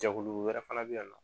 Jagonu wɛrɛ fana bɛ yan nɔ